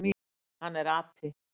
Hann er api.